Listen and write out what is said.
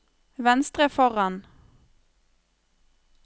venstre foran